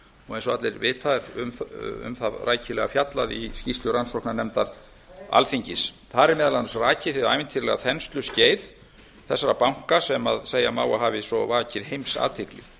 og eins og allir vita um það rækilega fjallað í skýrslu rannsóknarnefndar alþingis þar er meðal annars rakið hið ævintýralega þensluskeið þessara banka sem segja má að hafi svo vakið heimsathygli